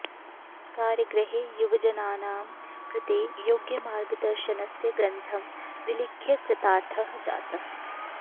कारगृहे युवजनानां कृते योग्यमार्गदर्शनस्य ग्रन्थं विलिख्य कृतार्थः जातः